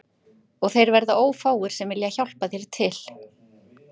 Og þeir verða ófáir sem vilja hjálpa þér til